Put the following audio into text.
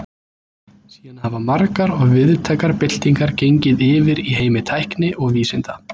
Síðan hafa margar og víðtækar byltingar gengið yfir í heimi tækni og vísinda.